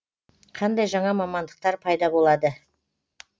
қандай жаңа мамандықтар пайда болады